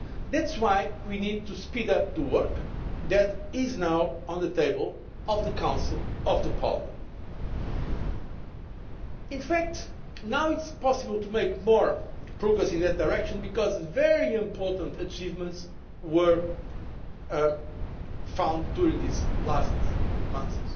That is why we need to speed up the work that is now on the table of the Council and Parliament. In fact, it is now possible to make more progress in that direction because very important achievements have been realised during these last months.